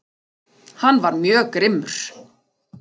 Hann var mjög grimmur